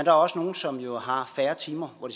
er også nogle som jo har færre timer hvor